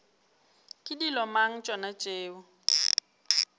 ke dilo mang tšona tšeo